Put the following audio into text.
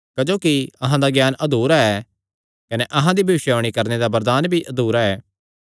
क्जोकि अहां दा ज्ञान अधुरा ऐ कने अहां दी भविष्यवाणी करणे दा वरदान भी अधुरा ऐ